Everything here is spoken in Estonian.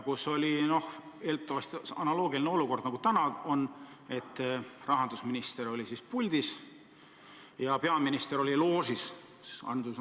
Siis oli analoogiline olukord, nagu täna on: rahandusminister oli puldis ja peaminister oli loožis.